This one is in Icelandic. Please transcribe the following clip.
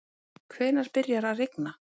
hvenær byrjar að rigna